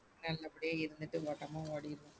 நம்ம அப்டியே இருந்துட்டு ஓட்டமா ஓடிரும்.